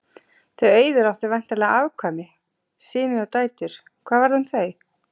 Þau Auður áttu væntanlega afkvæmi, syni og dætur, hvað varð um þau?